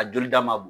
A joli da ma b